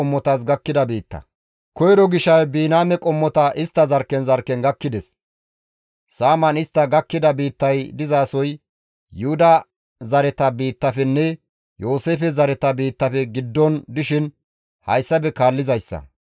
Koyro gishay Biniyaame qommota istta zarkken zarkken gakkides. Saaman istta gakkida biittay dizasoy Yuhuda zareta biittafenne Yooseefe zareta biittafe giddon gidishin hayssafe kaallizayssa;